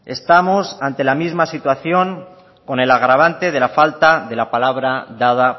estamos ante la misma situación con el agravante de la falta de la palabra dada